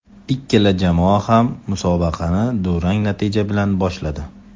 Ikkala jamoa ham musobaqani durang natija bilan boshladi.